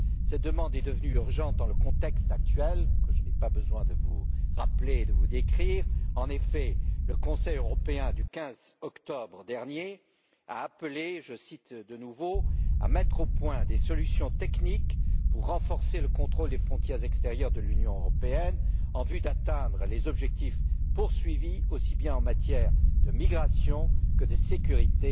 Cette demande est devenue urgente dans le contexte actuel que je n'ai pas besoin de vous rappeler et de vous décrire en effet, le Conseil européen du 15 octobre dernier a appelé je cite de nouveau à mettre au point des solutions techniques pour renforcer le contrôle des frontières extérieures de l'Union européenne en vue d'atteindre les objectifs poursuivis, aussi bien en matière de migration que de sécurité,